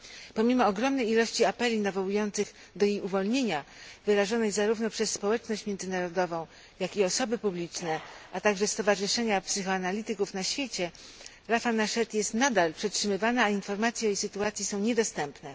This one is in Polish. Pomimo ogromnej liczby apeli nawołujących do jej uwolnienia, wyrażonych zarówno przez społeczność międzynarodową, jak i osoby publiczne, a także stowarzyszenia psychoanalityków na świecie, Rafah Nached jest ciągle przetrzymywana, a informacje o jej sytuacji są niedostępne.